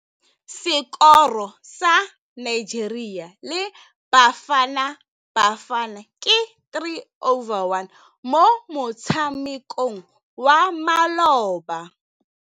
Sekôrô sa Nigeria le Bafanabafana ke 3-1 mo motshamekong wa malôba.